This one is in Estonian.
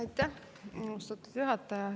Aitäh, austatud juhataja!